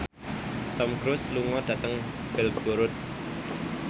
Tom Cruise lunga dhateng Belgorod